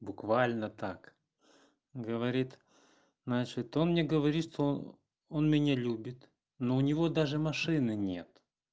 буквально так говорит значит он мне говорит что он меня любит но у него даже машины нет